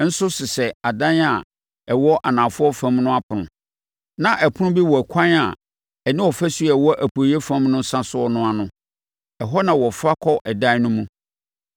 nso sesɛ adan a ɛwɔ anafoɔ fam no apono. Na ɛpono bi wɔ ɛkwan a ɛne ɔfasuo a ɛkɔ apueeɛ fam no sa soɔ no ano. Ɛhɔ na wɔfa kɔ adan no mu.